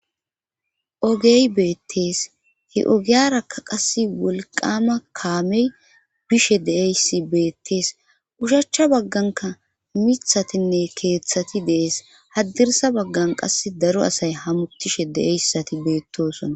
ogey beettees he ogiyaraka qase wolqama kaamey bishe deeyssi beettees ushachcha bagganka mithatinne keeththati dees haddirsa baggan qass daro asay hamuttishe de7eyssati beettosona